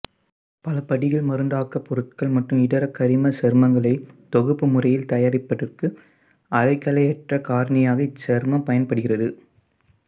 பலபடிகள் மருந்தாக்கப் பொருட்கள் மற்றும் இதர கரிமச் சேர்மங்களை தொகுப்பு முறையில் தயாரிப்பதற்கு அல்கைலேற்றக் காரணியாக இச்சேர்மம் பயன்படுகிறது